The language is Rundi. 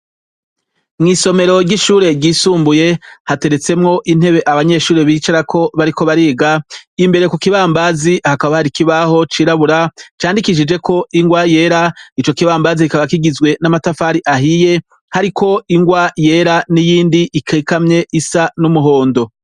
Mwisomero ryishure ryisumbuye hateretsemwo intebe abanyeshure bicaramwo bariko bariga imbere kukibambazi hakaba hari ikibaho cirabura candikishijeko ingwa yera icokibambazi kikaba kigizwe namatafari ahiye hariko ingwa yera niyindi ikikamye isa numuhondo